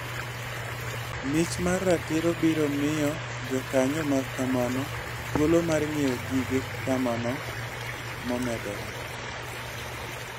Mich mar ratiro biro miyo jokanyo mag kemano thuolo mar ng'iewo gige kemano momedore.